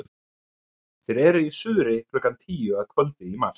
þeir eru í suðri klukkan tíu að kvöldi í mars